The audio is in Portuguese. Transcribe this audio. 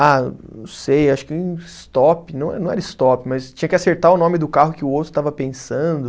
Ah, não sei, acho que stop, não não era stop, mas tinha que acertar o nome do carro que o outro estava pensando.